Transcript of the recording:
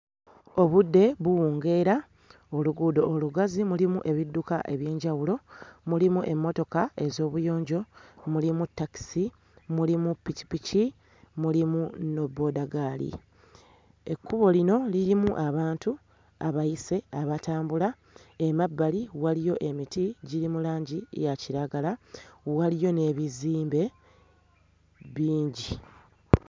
Obudde buwungeera, oluguudo olugazi mulimu ebidduka eby'enjawulo mulimu emmotoka ez'obuyonjo, mulimu takisi, mulimu ppikipiki mulimu ne boodaggaali, ekkubo lino lirimu abantu abayise abatambula, emabbali waliyo emiti giri mu langi ya kiragala, waliyo n'ebizimbe bingi.